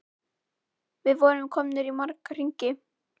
Við vorum komnir í marga hringi.